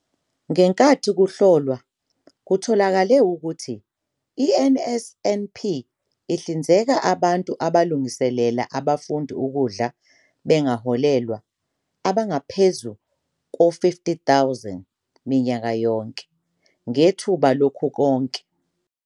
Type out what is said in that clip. "Ngenkathi kuhlolwa kutholakale ukuthi i-NSNP ihlinzeka abantu abalungiselela abafundi ukudla bengaholelwa, abangaphezu kwezi-50 000 minyaka yonke, ngethuba lokukhokhe--